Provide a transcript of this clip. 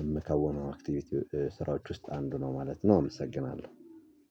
የምከውነው አክቲቪቲ ስራዎች ውስጥ አንዱ ነው ማለት ነው እመሰግናለሁ።